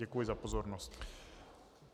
Děkuji za pozornost.